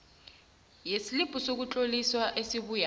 yeslibhu sokutloliswa esibuya